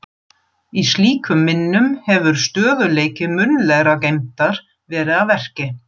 Í slíkum minnum hefur stöðugleiki munnlegrar geymdar verið að verki.